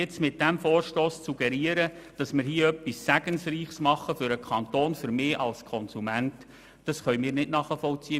Mit diesem Vorstoss zu suggerieren, wir würden hier für den Kanton und für mich als Konsumenten etwas Segensreiches machen, das können wir nicht akzeptieren.